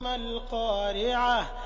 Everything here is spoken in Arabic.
مَا الْقَارِعَةُ